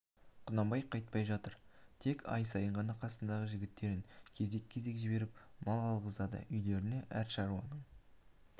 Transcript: құнанбай қайтпай жатыр тек ай сайын ғана қасындағы жігіттерін кезек-кезек жіберіп мал алғызады үйлеріне әр шаруаның